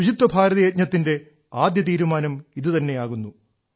ശുചിത്വ ഭാരത യജ്ഞത്തിന്റെ ആദ്യ തീരുമാനം ഇതുതന്നെയാകുന്നു